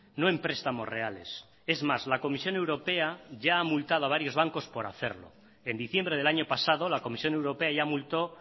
no en prestamos reales es más la comisión europea ya ha multado a varios bancos por hacerlo en diciembre del año pasado la comisión europea ya multó